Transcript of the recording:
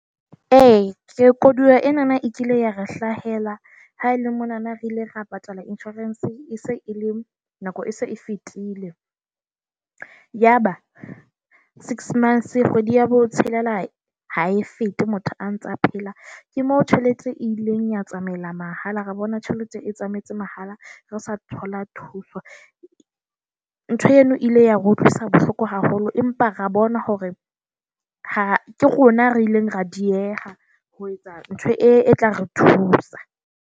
Eya, ke koduwa ena e kile ya re hlahela ha ele monana re ile ra patala insurance e se e le nako e se e fetile. Yaba six months kgwedi ya botshelela ha e fete motho a ntsa phela. Ke mo tjhelete e ileng ya tsamaela mahala, ra bona tjhelete e tsamaetse mahala. Re sa thola thuso, ntho eno ile ya re utlwisa bohloko haholo, empa re bona hore ha ke rona re ileng ra dieha ho etsa ntho e tla re thusa.